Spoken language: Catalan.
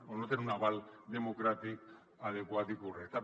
o no tenen un aval democràtic adequat i correcte